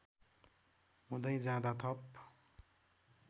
हुँदै जाँदा थप